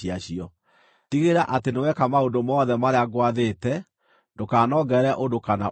Tigĩrĩra atĩ nĩ weka maũndũ mothe marĩa ngwathĩte; ndũkanongerere ũndũ kana ũrutarute.